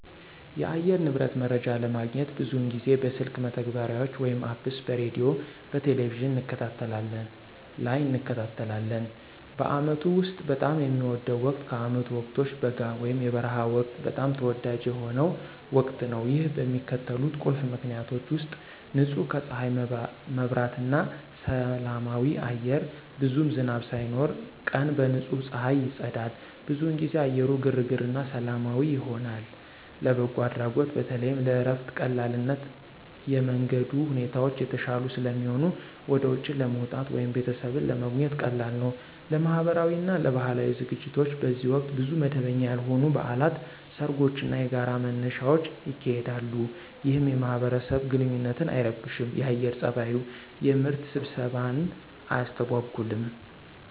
የአየር ንብረት መረጃ ለማግኘት ብዙውን ጊዜ በስልክ መተግበሪያዎች (Apps) በሬዲዮ፣ በቴሊቪዥን እንከታተላለን ላይ እንከታተላለን። በአመቱ ውስጥ በጣም የሚወደው ወቅት ከዓመቱ ወቅቶች በጋ (የበረሃ ወቅት) በጣም ተወዳጅ የሆነው ወቅት ነው። ይህ በሚከተሉት ቁልፍ ምክንያቶች ውሰጥ · ንጹህ ከፀሐይ መብራት እና ሰላማዊ አየር ብዙም ዝናብ ሳይኖር፣ ቀን በንጹህ ፀሐይ ይጸዳል። ብዙውን ጊዜ አየሩ ግርግር እና ሰላማዊ ይሆናል። · ለበጎ አድራጎት በተለይም ለእረፍት ቀላልነት የመንገድ ሁኔታዎች የተሻሉ ስለሚሆኑ ወደ ውጪ ለመውጣት ወይም ቤተሰብን ለመጎብኘት ቀላል ነው። · ለማህበራዊ እና ለባህላዊ ዝግጅቶች በዚህ ወቅት ብዙ መደበኛ ያልሆኑ በዓላት፣ ሰርጎች እና የጋራ መነሻዎች ይካሄዳሉ፣ ይህም የማህበረሰብ ግንኙነትን አይረብሽም የአየር ፀባዩ። የምርት ስብሰባን አያስተጎጉልም።